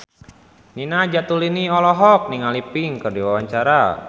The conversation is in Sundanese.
Nina Zatulini olohok ningali Pink keur diwawancara